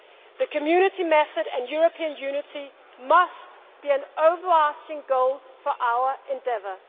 us. The Community method and European unity must be an overarching goal for our endeavour.